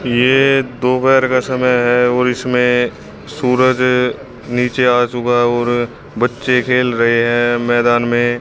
ये दोपहर का समय है और इसमें सूरज नीचे आ चुका है और बच्चे खेल रहे हैं मैदान में--